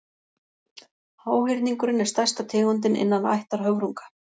háhyrningurinn er stærsta tegundin innan ættar höfrunga